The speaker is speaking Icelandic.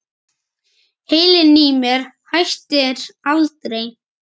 Heilinn í mér hættir aldrei.